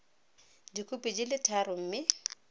dikhopi di le tharo mme